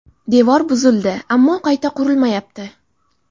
Devor buzildi, ammo qayta qurilmayapti.